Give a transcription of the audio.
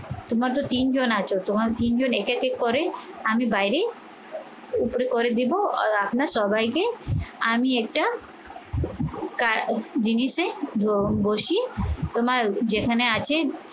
তোমার তো তিনজন আছো, তোমার তিনজন একে একে করে আমি বাইরে উপরে করে দেব আর আপনার সবাইকে আমি একটা আহ জিনিসে বসি তোমার যেখানে আছে